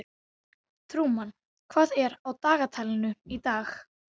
Trúmann, hvað er á dagatalinu í dag?